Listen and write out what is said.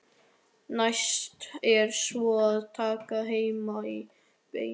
Næst er svo að taka Hemma á beinið.